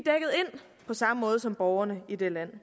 på samme måde som borgerne i det land